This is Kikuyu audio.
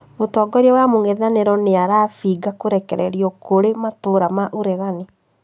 Mũtongoria wa mũng'ethanĩro nĩarabinga krekererio kũrĩ matũra ma ũregani